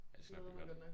Ja det skal nok blive godt